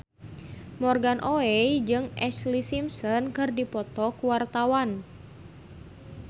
Morgan Oey jeung Ashlee Simpson keur dipoto ku wartawan